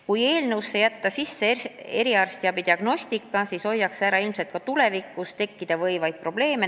Kui jätta eelnõusse sisse mõiste "eriarstiabi diagnostika", siis hoiab see ilmselt ära ka tulevikus tekkida võivaid probleeme.